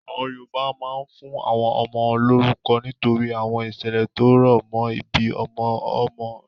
Àwọn Yorùbá máa ń fún àwọn ọmọ lórúkọ nítorí àwọn ìṣẹ̀lẹ̀ tó rọ̀ mọ́ ìbí irú ọmọ bẹ́ẹ̀ tẹ́lẹ̀.